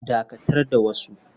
Dakatar da wasa.